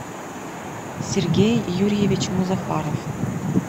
сергей юрьевич музафаров